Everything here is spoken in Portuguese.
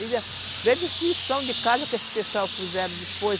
Veio destruição de casa que esses pessoal fizeram depois,